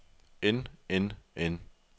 end end end